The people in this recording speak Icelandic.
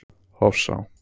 Hofsá